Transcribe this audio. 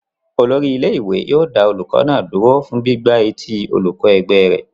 Olórí ilé-ìwé yóò dá olùkọ́ náà dúró fún gbígbá etí olùkọ́ ẹgbẹ́ rẹ̀.